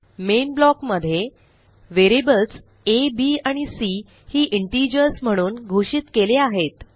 main block मध्ये variables A B आणि C ही इंटिजर्स म्हणून घोषित केले आहेत